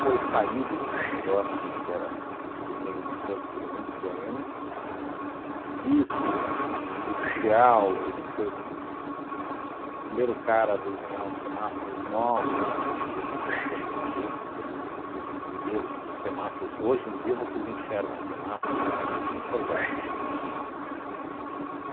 foi saído desse negócio, porque era ele tem uma coisa que ele é muito boêmio, tá? Disso, de de industrial, ele foi o uhn o primeiro cara a desenhar o semáforos novos, ele junto com o primo dele, que é Zé Luiz Ribeiro, que semáforos, hoje em dia vocês enxergam semáforo, antigamente você não enxergava, tá?